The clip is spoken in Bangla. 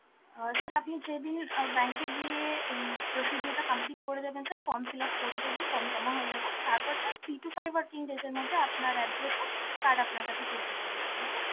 অ্যাঁ sir আপনি যেদিন অ্যাঁ bank এ গিয়ে এই procedure টা complete করে দেবেন sir, form fill up করে দেবে, form জমা হয়ে যাবে, তারপর sir three to five working days এর মধ্যে আপনার address এ card আপনার কাছে পৌঁছে যাবে sir, okay?